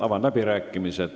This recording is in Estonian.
Avan läbirääkimised.